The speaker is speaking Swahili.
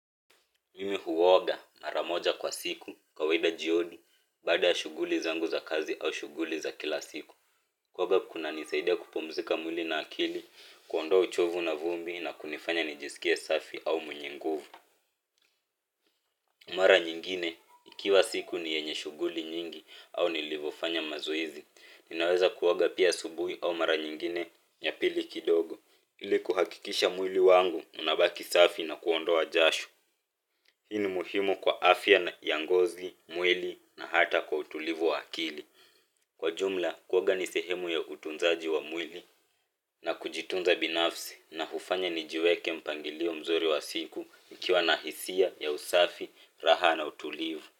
Mimi huoga mara moja kwa siku baada ya shughuli zangu za kazi au shughuli za kila siku kuoga kuna nisaida kupumzika mwili na akili kuondoa uchovu na vumbi na kunifanya nijisikie safi au mwenye nguvu mara nyingine ikiwa siku ni yenye shughuli nyingi au nilivyofanya mazoezi ninaweza kuoga pia asubuhi au mara nyingine ya pili kidogo ili kuhakikisha mwili wangu unabaki safi na kuondoa jasho hii ni muhimu kwa afya na ya ngozi, mwili na hata kwa utulivu wa akili. Kwa jumla, kuoga ni sehemu ya utunzaji wa mwili na kujitunza binafsi na hufanya ni jiweke mpangilio mzuri wa siku nikiwa na hisia ya usafi, raha na utulivu.